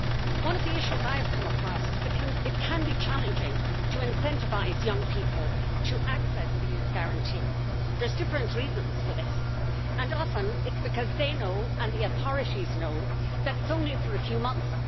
One of the issues I have come across is that it can be challenging to incentivise young people to access the Youth Guarantee. There are different reasons for this and often it is because they know and the authorities know that it is only for a few months.